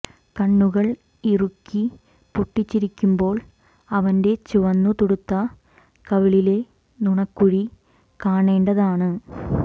കണ്ണുകൾ ഇറുക്കി പൊട്ടിച്ചിരിക്കുമ്പോൾ അവന്റെ ചുവന്നു തുടുത്ത കവിളിലെ നുണക്കുഴി കാണേണ്ടതാണ്